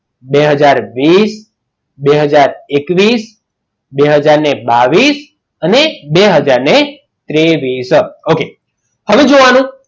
બે હાજર વીસ બાવીશ અને ત્રેવીસ okay હવે જોવાનું